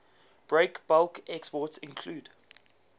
breakbulk exports include